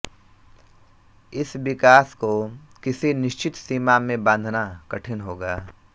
इस विकास को किसी निश्चित सीमा में बाँधना कठिन होगा